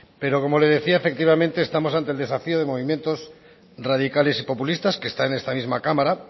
pero como le decía efectivamente estamos ante el desafía de movimientos radicales y populistas que están en esta misma cámara